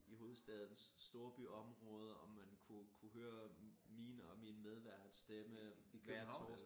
I hovedstadens storbyområder og man kunne kunne høre min og min medværts stemme hver torsdag